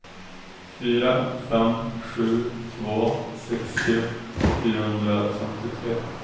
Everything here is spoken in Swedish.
fyra fem sju två sextio fyrahundrafemtiotre